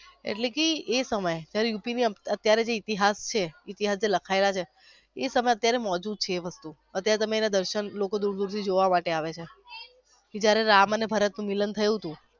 એટલે કે એ સમયે અતયારે જે ઈતીહાસ છે ઈતીહાસ જે લખાયેલો છે ઍ સમયે એ અત્યરે મોજુદ છે એ વસ્તુ અત્યારે તમે એના દર્શન લોકો દૂરદૂર થી જોવા માટે આવે છે જયારે રામ અને ભરત નું મિલન થયુ તુ